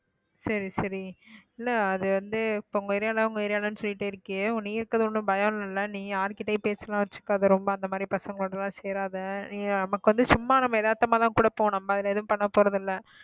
சரி சரி இல்ல அது வந்து இப்ப உங்க area ல உங்க area லன்னு சொல்லிட்டு இருக்கியே நீ இருக்கிறது ஒண்ணும் பயம் இல்ல இல்ல நீ யார்கிட்டயும் பேச்செல்லாம் வச்சுக்காத ரொம்ப அந்த மாதிரி பசங்களோட எல்லாம் சேராதே நமக்கு வந்து சும்மா நம்ம எதார்த்தமா தான் கூட போவோம் நம்ம அதுல எதுவும் பண்ண போறது இல்ல